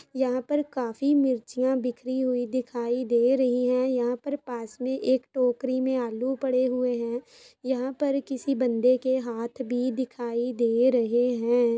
यहाँ पर काफी मिर्चया बिखरी हुई दिखाई दे रही हैं यहाँ पर पास मे एक टोकरी में आलू पड़े हुए हैं यहाँ पर किसी बंदे के हाथ भी दिखाई दे रहे हैं।